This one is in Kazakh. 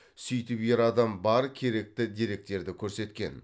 сөйтіп ер адам бар керекті деректерді көрсеткен